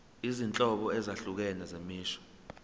izinhlobo ezahlukene zemisho